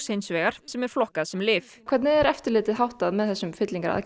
hins vegar sem er flokkað sem lyf hvernig er eftirliti háttað með þessum